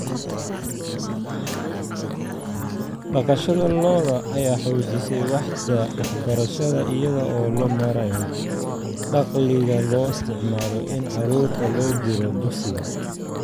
Dhaqashada lo'da lo'da ayaa xoojisay waaxda waxbarashada iyada oo loo marayo dakhliga loo isticmaalo in carruurta loo diro dugsiga.